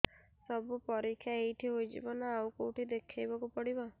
ସବୁ ପରୀକ୍ଷା ଏଇଠି ହେଇଯିବ ନା ଆଉ କଉଠି ଦେଖେଇ ବାକୁ ପଡ଼ିବ